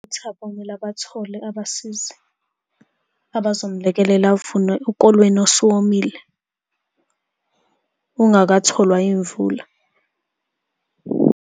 UThabo kumele abathole abasizi abazomulekelela avune ukolweni osuwomile, ungakatholwa yimvula.